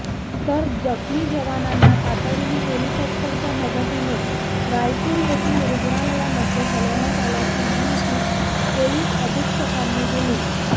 तर जखमी जवानांना तातडीने हेलिकॉप्टरच्या मदतीने रायपूर येथील रूग्णालयामध्ये हलवण्यात आल्याची माहिती पोलीस अधीक्षकांनी दिली